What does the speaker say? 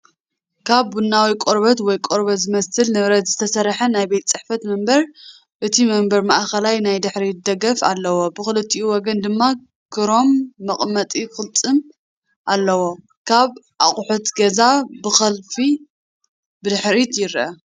ካብ ቡናዊ ቆርበት ወይ ቆርበት ዝመስል ንብረት ዝተሰርሐ ናይ ቤት ጽሕፈት መንበር። እቲ መንበር ማእከላይ ናይ ድሕሪት ደገፍ ኣለዎ፣ ብኽልቲኡ ወገን ድማ ክሮም መቐመጢ ቅልጽም ኣለዎ። ካልእ ኣቑሑት ገዛ ብኸፊል ብድሕሪት ይርአ።